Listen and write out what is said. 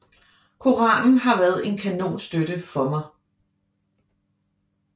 Koranen har været en kanonstøtte for mig